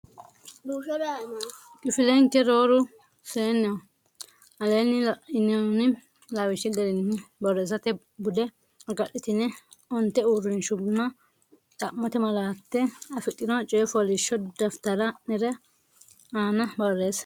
Kifilenke rooru seenneho Aleenni la inoonni lawishshi garinni borreessate bude agadhitine onte uurrinshunna xa mote malaate afidhino coy fooliishsho daftari ne aana borreesse.